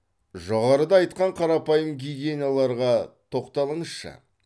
жоғарыда айтқан қарапайым гигиеналарға тоқталыңызшы